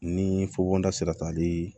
Ni fukonda sera ka di